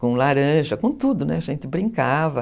com laranja, com tudo, a gente brincava.